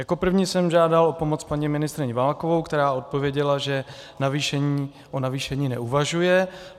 Jako první jsem žádal o pomoc paní ministryni Válkovou, která odpověděla, že o navýšení neuvažuje.